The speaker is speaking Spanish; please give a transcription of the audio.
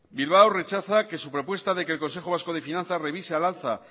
bilbao rechaza que su propuesta de que el consejo vasco de finanzas revise al alza